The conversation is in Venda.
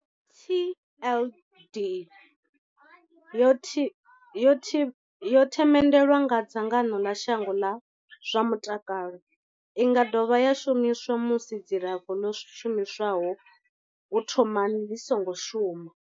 TLD yo themendelwa nga dzangano ḽa shango ḽa zwa mutakalo. I nga dovha ya shumiswa musi dzilafho ḽo shumiswaho u thomani ḽi songo shuma.